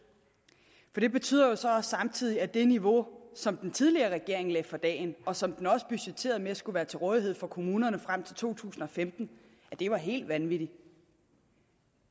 jeg det betyder jo så samtidig at det niveau som den tidligere regering lagde for dagen og som den også budgetterede med skulle være til rådighed for kommunerne frem til to tusind og femten var helt vanvittigt